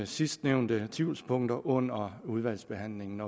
sidstnævnte tvivlspunkter under udvalgsbehandlingen